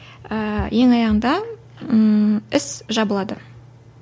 ііі ең аяғында ііі іс жабылады